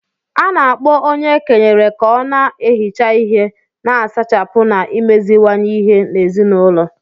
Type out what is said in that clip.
A na-akpọ onye e kenyere ka ọ na-ehicha ihe, na-asachapụ na imeziwanye ihe n’ezinụlọ